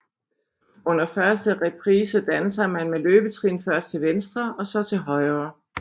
Under første reprise danser man med løbetrin først til venstre og så til højre